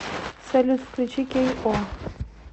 салют включи кей о